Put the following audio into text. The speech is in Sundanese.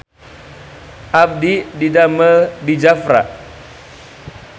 Abdi didamel di Jafra